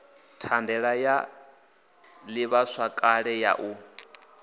thandela ya ḓivhazwakale ya u